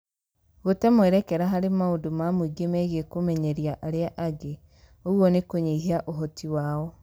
Gũte mwerekera harĩ maũndũ ma mũingĩ megiĩ kũmenyeria arĩa angĩ (ũguo nĩ kũnyihia ũhoti wao)